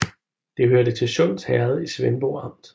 Det hørte til Sunds Herred i Svendborg Amt